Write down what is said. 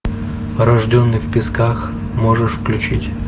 рожденный в песках можешь включить